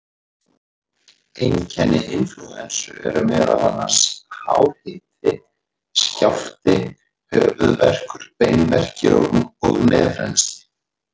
Einkenni inflúensu eru meðal annars hár hiti, skjálfti, höfuðverkur, beinverkir og nefrennsli.